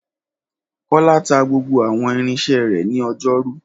Kọ́lá ta gbogbo àwọn irinṣẹ́ rẹ̀ ní ọjọ́rú.